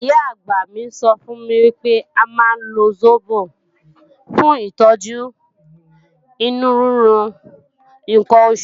Ìyá-àgbà mi sọ fún mi wípé a máa ń lo sóbò fún ìtọ́jú inú rírun ǹkan oṣù